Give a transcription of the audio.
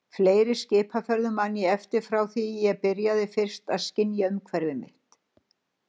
Fleiri skipaferðum man ég eftir frá því að ég byrjaði fyrst að skynja umhverfi mitt.